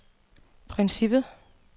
princippet